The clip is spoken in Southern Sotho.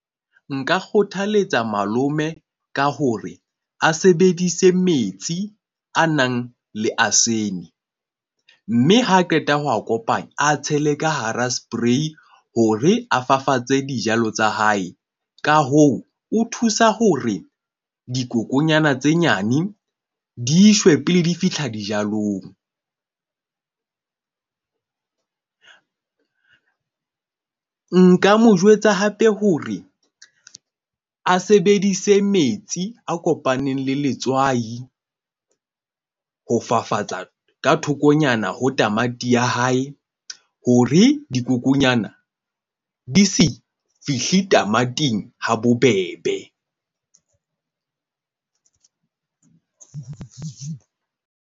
Nka kgothaletsa malome ka hore a sebedise metsi a nang le asene. Mme ha qeta ho a kopanya, a tshele ka hara spray hore a fafatse dijalo tsa hae. Ka hoo, o thusa hore dikokonyana tse nyane di shwe pele di fitlha dijalong. Nka mo jwetsa hape hore a sebedise metsi a kopaneng le letswai ho fafatsa ka thokonyana ho tamati ya hae. Hore dikokonyana di se fihle tamating ha bobebe.